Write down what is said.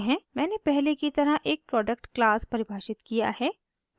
मैंने पहले की तरह एक product class परिभाषित किया है